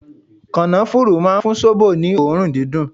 Kanafuru máa ń fún zobo ní òórùn dídùn.